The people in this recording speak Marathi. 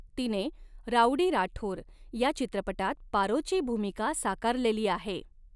तिने राउडी राठोर या चित्रपटात पारोची भूमिका साकारलेली आहे.